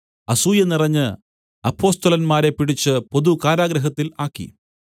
അസൂയ നിറഞ്ഞ് അപ്പൊസ്തലന്മാരെ പിടിച്ച് പൊതു കാരാഗൃഹത്തിൽ ആക്കി